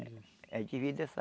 A gente divide essa...